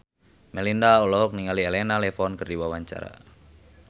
Melinda olohok ningali Elena Levon keur diwawancara